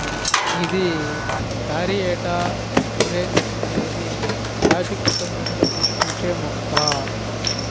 ఇది Caryota urens అనేది తాటి కుటుంబంలో పుష్పించే మొక్క